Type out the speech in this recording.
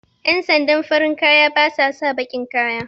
Ƴan sandan farin kaya basa saka baƙin kaya